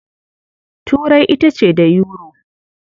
Turai ita ce da Yuro.